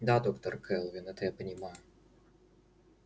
да доктор кэлвин это я понимаю